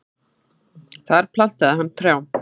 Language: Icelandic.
Þar plantaði hann trjám.